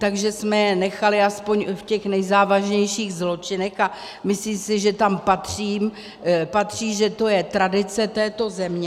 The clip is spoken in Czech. Takže jsme je nechali aspoň v těch nejzávažnějších zločinech, a myslím si, že tam patří, že to je tradice této země.